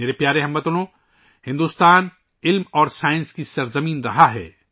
میرے پیارے ہم وطنو، ہندوستان تعلیم اور علم کی سرزمین رہا ہے